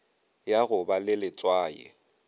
ya go ba le letswai